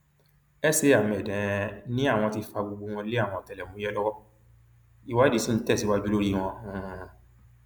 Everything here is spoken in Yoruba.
sa ahmed um ni àwọn ti fa gbogbo wọn lé àwọn ọtẹlẹmúyẹ lọwọ ìwádìí ṣì ń tẹsíwájú lórí wọn um